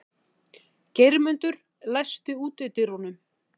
Geirmundur, læstu útidyrunum.